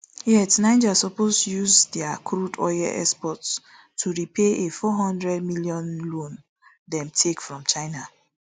yet niger suppose to use dia crude oil exports to repay a four hundred million loan dem take from china